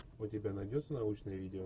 у тебя найдется научное видео